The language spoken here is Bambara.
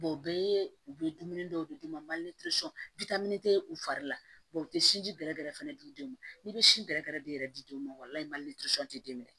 o bɛɛ ye u bɛ dumuni dɔw de d'u ma u fari la u tɛ sinji gɛrɛ gɛrɛ di den ma n'i bɛ si bɛrɛ de yɛrɛ di den ma o la tɛ den minɛ